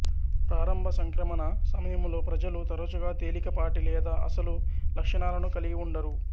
ప్రారంభ సంక్రమణ సమయంలో ప్రజలు తరచుగా తేలికపాటి లేదా అసలు లక్షణాలను కలిగి ఉండరు